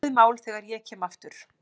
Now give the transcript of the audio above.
Búið mál þegar ég kem aftur